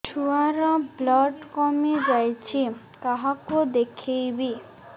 ଛୁଆ ର ବ୍ଲଡ଼ କମି ଯାଉଛି କାହାକୁ ଦେଖେଇବି